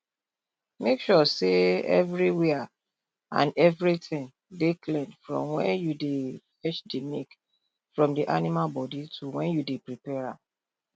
make sure sey evriwia an evritin dey clean from wen yu dey fetch di milk from di animal bodi to wen yu dey prepare am